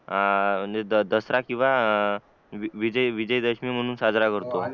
अं दसरा किंवा विजय विजयादशमी म्हून साजरा करतो